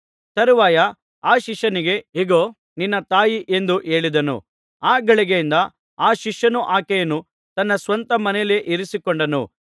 ತರುವಾಯ ಆ ಶಿಷ್ಯನಿಗೆ ಇಗೋ ನಿನ್ನ ತಾಯಿ ಎಂದು ಹೇಳಿದನು ಆ ಗಳಿಗೆಯಿಂದ ಆ ಶಿಷ್ಯನು ಆಕೆಯನ್ನು ತನ್ನ ಸ್ವಂತ ಮನೆಯಲ್ಲೇ ಇರಿಸಿಕೊಂಡನು